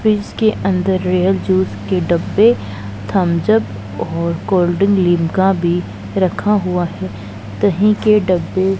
fridge के अंदर Real juice के डब्बे थम्स अप और कोल्ड ड्रिंक लिम्का भी रखा हुआ है दही के डब्बे --